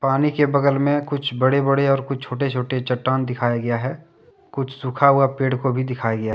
पानी के बगल में कुछ बड़े- बड़े और कुछ छोटे- छोटे चट्टान दिखाया गया है कुछ सूखा हुआ पेड़ को भी दिखाया गया--